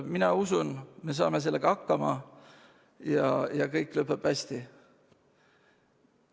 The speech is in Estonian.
Mina usun, et me saame sellega hakkama ja kõik lõpeb hästi.